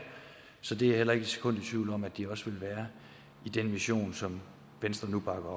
så det er jeg heller ikke et sekund i tvivl om at de også vil være i den mission som venstre nu bakker